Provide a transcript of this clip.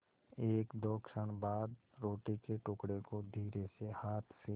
एकदो क्षण बाद रोटी के टुकड़े को धीरेसे हाथ से